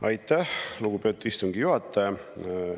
Aitäh, lugupeetud istungi juhataja!